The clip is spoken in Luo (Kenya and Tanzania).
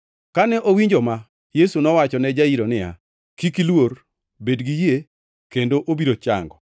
Kane owinjo ma, Yesu nowachone Jairo niya, “Kik iluor, bed gi yie kendo obiro chango.”